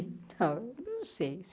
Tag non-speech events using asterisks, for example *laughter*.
*unintelligible* Não sei.